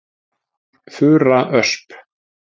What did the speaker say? Fura Ösp.